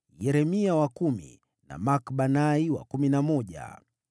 Yeremia wa kumi, na Makbanai wa kumi na moja.